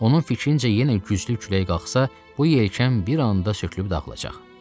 Onun fikrincə, yenə güclü külək qalxsa, bu yelkən bir anda sökülüb dağılacaq.